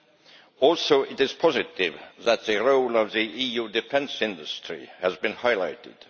It is also positive that the role of the EU defence industry has been highlighted.